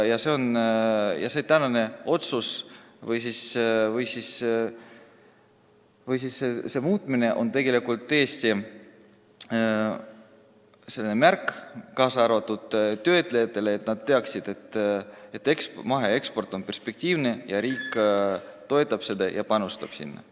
Praeguse otsuse muutmine oleks tõesti ka töötlejate jaoks märk sellest, et maheeksport on perspektiivne, riik toetab seda ja panustab sinna.